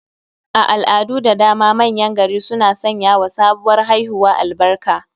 A al'adu da dama manyan gari suna sanyawa sabuwar haihuwa albarka